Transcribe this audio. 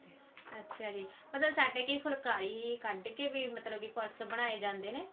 ਅੱਛਿਆ ਜੀ ਮਤਲਬ ਸਾਡੇ ਕਈ ਫੁਲਕਾਰੀ ਕੱਢ ਕੇ ਵੀ ਮਤਲਬ purse ਬਨਾਏ ਜਾਂਦੇ ਨੇ